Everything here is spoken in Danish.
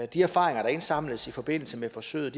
de erfaringer der indsamles i forbindelse med forsøget